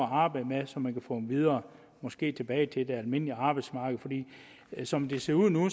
arbejde med så man kan få dem videre måske tilbage til det almindelige arbejdsmarked for som det ser ud nu